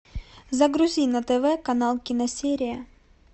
загрузи на тв канал киносерия